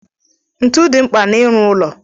Ntu dị mkpa na ịrụ ụlọ.